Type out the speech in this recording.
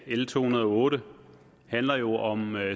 l to hundrede og otte handler jo om